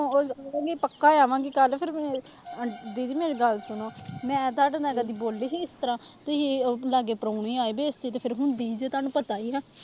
ਪੱਕਾ ਆ ਜਾਵਾਂਗੀ ਕੱਲ੍ਹ ਫਿਰ ਮੈਂ ਦੀਦੀ ਮੇਰੀ ਗੱਲ ਸੁਣੋ ਮੈਂ ਤੁਹਾਡੇ ਨਾਲ ਕਦੇ ਬੋਲੀ ਸੀ ਇਸ ਤਰ੍ਹਾਂ, ਤੁਸੀਂ ਲਾਗੇ ਪਰਾਹੁਣੇ ਆਏ ਬੇਇਜਤੀ ਤਾਂ ਫਿਰ ਹੁੰਦੀ ਜੇ ਤੁਹਾਨੂੰ ਪਤਾ ਹੀ ਨਾ।